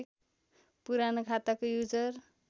पुरानो खाताको युजर